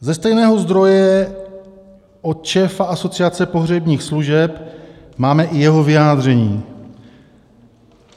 Ze stejného zdroje, od šéfa Asociace pohřebních služeb, máme i jeho vyjádření.